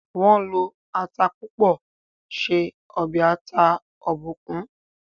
wón ló atá púpọ ṣe obe ata eja Obòkun